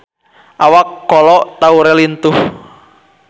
Awak Kolo Taure lintuh